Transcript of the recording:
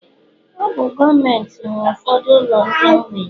Ọ bụ gọọmentị nwe ụfọdụ ụlọ ndị mgbei